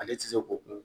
Ale ti se ko kun